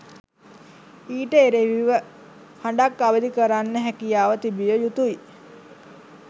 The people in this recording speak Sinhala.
ඊට එරෙහිව හඬක් අවදිකරන්න හැකියාව තිබිය යුතුයි